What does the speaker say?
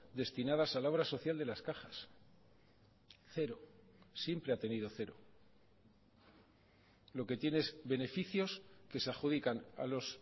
destinadas a la obra social de las cajas cero siempre ha tenido cero lo que tiene es beneficios que se adjudican a los